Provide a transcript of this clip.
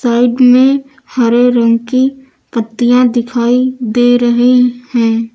Side में हरे रंग की पत्तियां दिखाई दे रही हैं।